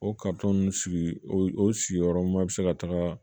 O ninnu sigi o sigiyɔrɔma bi se ka taga